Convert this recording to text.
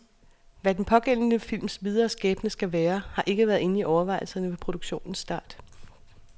Hvad den pågældende films videre skæbne skal være, har ikke været inde i overvejelserne ved produktionens start.